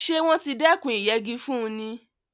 Ṣé wọ́n ti dékùn ìyẹgi fúnni?